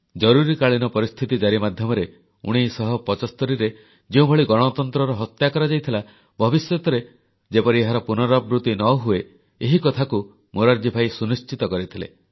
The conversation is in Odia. ଜରୁରୀକାଳୀନ ପରିସ୍ଥିତି ଜାରି ମାଧ୍ୟମରେ 1975ରେ ଯେଉଁଭଳି ଗଣତନ୍ତ୍ରର ହତ୍ୟା କରାଯାଇଥିଲା ଭବିଷ୍ୟତରେ ଯେପରି ଏହାର ପୁନରାବୃତି ନ ହୁଏ ଏହି କଥାକୁ ମୋରାରଜୀଭାଇ ସୁନିଶ୍ଚିତ କରିଥିଲେ